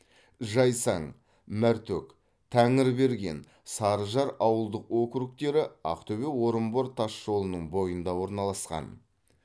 жайсаң мәртөк тәңірберген сарыжар ауылдық округтері ақтөбе орынбор тасжолының бойында орналасқан